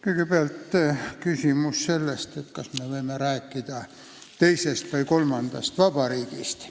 Kõigepealt küsimus, kas meie võime rääkida teisest või kolmandast vabariigist.